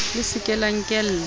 le se ke la nkella